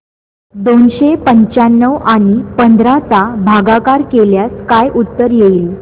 दोनशे पंच्याण्णव आणि पंधरा चा भागाकार केल्यास काय उत्तर येईल